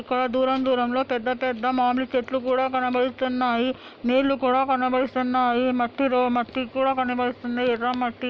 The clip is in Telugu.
ఇక్కడ దూరం దూరంలో పెద్ద- పెద్ద మామిడి చెట్లు కూడా కనపడిస్తున్నాయి నీళ్ళు కూడా కనపడిస్తున్నాయి మట్టిలో మట్టి కూడా కనపడిస్తుంది ఎర్ర మట్టి.